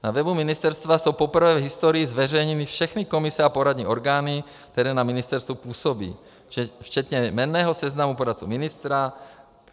Na webu ministerstva jsou poprvé v historii zveřejněny všechny komise a poradní orgány, které na ministerstvu působí, včetně jmenného seznamu poradce ministra.